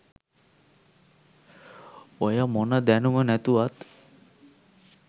ඔය මොන දැනුම නැතුවත්